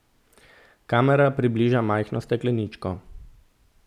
Kamera približa majhno stekleničko.